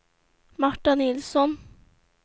Marta Nilsson